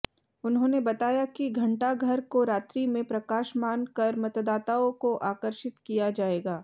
उन्होंने बताया कि घण्टाघर को रात्रि में प्रकाशमान कर मतदाताओं को आकर्षित किया जायेगा